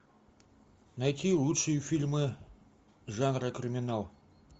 найти лучшие фильмы жанра криминал